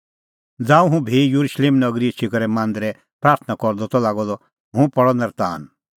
ज़ांऊं हुंह भी येरुशलेम नगरी एछी करै मांदरै प्राथणां करदअ त लागअ द ता हुंह पल़अ नर्तान